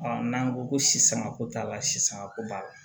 n'an ko ko sisan ko t'a la sisanga ko b'a la